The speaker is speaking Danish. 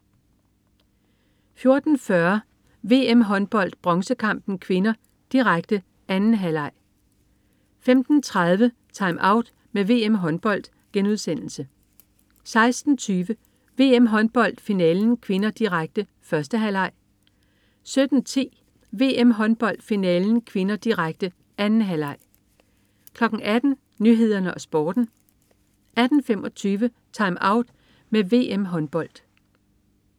14.40 VM-Håndbold: Bronzekampen (k), direkte. 2. halvleg 15.30 TimeOut med VM-Håndbold* 16.20 VM-Håndbold: Finalen (k), direkte. 1. halvleg 17.10 VM-Håndbold: Finalen (k), direkte. 2. halvleg 18.00 Nyhederne og Sporten 18.25 TimeOut med VM-Håndbold